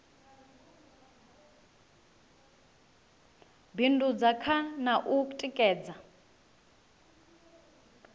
bindudza kha na u tikedza